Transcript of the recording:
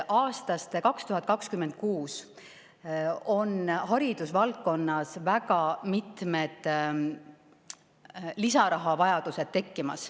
Aastast 2026 on haridusvaldkonnas tekkimas väga mitmed lisarahavajadused.